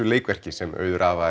leikverki sem Auður